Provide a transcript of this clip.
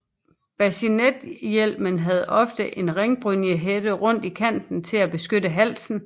Bascinethjelmen havde ofte en ringbrynjehætte rundt i kanten til at beskytte halsen